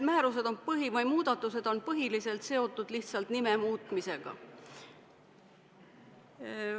Need muudatused on põhiliselt seotud lihtsalt nime muutmisega.